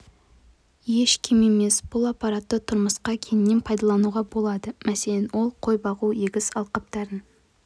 еш кем емес бұл аппаратты тұрмысқа кеңінен пайдалануға болады мәселен ол қой бағу егіс алқаптарын